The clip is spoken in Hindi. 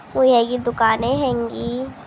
व है ये की दुकाने हेंगी।